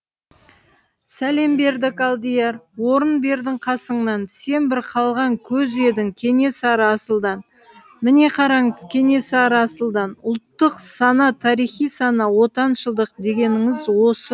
сәлем бердік алдияр орын бердің қасыңнан сен бір қалған көз едіңкенесары асылдан міне қараңыз кенесары асылдан ұлттық сана тарихи сана отаншылдық дегеніңіз осы